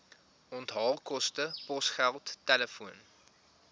onthaalkoste posgeld telefoon